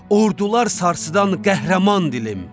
Ordular sarsıdan qəhrəman dilim.